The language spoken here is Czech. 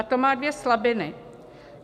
A to má dvě slabiny.